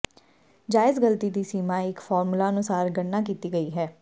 ਜਾਇਜ਼ ਗਲਤੀ ਦੀ ਸੀਮਾ ਇੱਕ ਫਾਰਮੂਲਾ ਅਨੁਸਾਰ ਗਣਨਾ ਕੀਤੀ ਗਈ ਹੈ